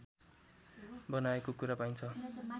बनाएको कुरा पाइन्छ